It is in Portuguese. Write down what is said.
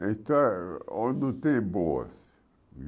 História tem boas.